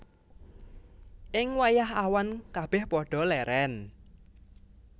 Ing wayah awan kabèh padha lèrèn